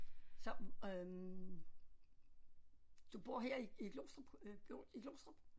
Så øh du bor her i i Glostrup øh i Glostrup